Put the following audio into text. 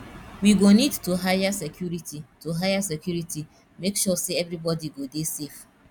we go need to hire security to hire security make sure sey everybodi go dey safe